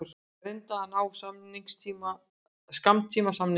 Reyna að ná skammtímasamningi